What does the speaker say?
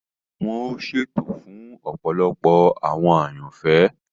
Wọn ọ ṣètò fun ọpọlọpọ awọn àyànfẹ.